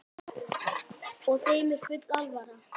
Og þeim er full alvara.